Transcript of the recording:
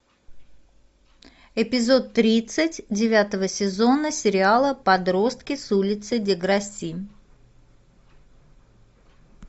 эпизод тридцать девятого сезона сериала подростки с улицы деграсси